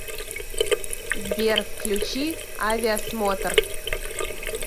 сбер включи авиасмотр